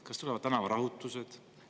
Kas tulevad tänavarahutused?